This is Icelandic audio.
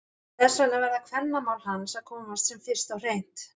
Þess vegna verða kvennamál hans að komast sem fyrst á hreint!